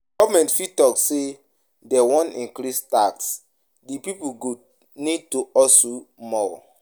Government fit talk say dem wan increase tax, di pipo go need to husle more